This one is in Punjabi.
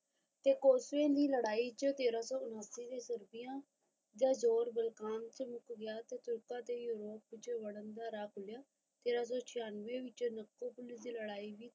ਤੇ ਕੋਸੇ ਲੜਾਈ ਤੇਰਾ ਸੋ ਉੱਨਤੀ ਵਿੱਚ ਰੁਕਿਆ ਯਾ ਜ਼ੋਰ ਬਲਖਾਨ ਮੁੱਕ ਗਿਆ ਤਾ ਯੂਰੋਪ ਚ ਵੜਨ ਦਾ ਰਾ ਖੁਲਿਆ ਤੇਰਾ ਸੋ ਛਿਆਨਵੇ ਕੋਸੇ ਦੀ ਲੜਾਈ ਵਿੱਚ